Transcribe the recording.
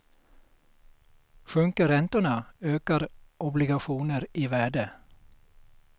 Sjunker räntorna ökar obligationer i värde.